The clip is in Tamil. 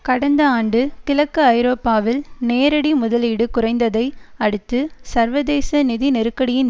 கடந்த ஆண்டு கிழக்கு ஐரோப்பாவில் நேரடி முதலீடு குறைந்ததை அடுத்து சர்வதேச நிதி நெருக்கடியின்